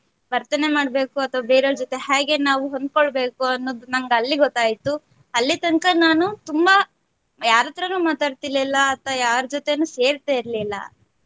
ವರ್ತನೆ ಮಾಡ್ಬೇಕು ಅಥವಾ ಬೇರೆಯವರ ಜೊತೆ ಹ್ಯಾಗೆ ನಾವು ಹೊಂದ್ಕೊಳ್ಬೇಕು ಅನ್ನೋದು ನಮ್ಗೆ ಅಲ್ಲಿ ಗೊತ್ತಾಯ್ತು ಅಲ್ಲಿ ತನಕ ನಾನು ತುಂಬಾ ಯಾರ ಹತ್ರನು ಮಾತಾಡ್ತಿರಲಿಲ್ಲ ಅಥವಾ ಯಾರ ಜೊತೆನು ಸೇರತಿರಲಿಲ್ಲ.